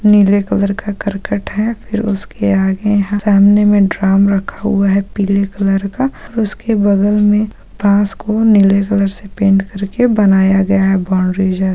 नीले कलर का करकट है फिर उसके आगे यहाँ सामने में ड्राम रखा हुआ है पीले कलर का और उसके बगल में पास को नीले कलर से पेंट करके बनाया गया है बाउंड्री जब ।